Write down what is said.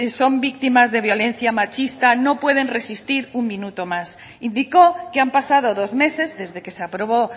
son víctimas de violencia machista no pueden resistir un minuto más indicó que han pasado dos meses desde que se aprobó